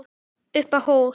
Upp á hól